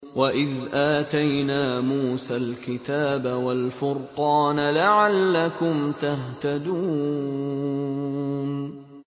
وَإِذْ آتَيْنَا مُوسَى الْكِتَابَ وَالْفُرْقَانَ لَعَلَّكُمْ تَهْتَدُونَ